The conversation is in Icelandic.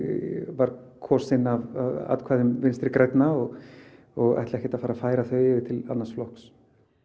var kosinn af atkvæðum Vinstri grænna og og ætla ekkert að fara að færa þau yfir til annars flokks